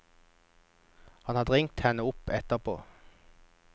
Han hadde ringt henne opp etterpå.